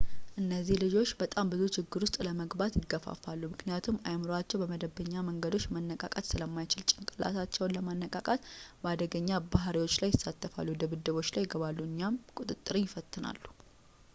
እነዚህ ልጆች በጣም ብዙ ችግር ውስጥ ለመግባት ይገፋፋሉ ምክንያቱም አይምሮአቸው በመደበኛ መንገዶች መነቃቃት ስለማይችል፣ ጭንቅላታቸውን ለማንቃት በአደገኛ ባሕሪዎች ላይ ይሳተፋሉ፣ ድብድቦች ላይ ይገባሉ፣ እናም ቁጥጥርን ይፈትናሉ”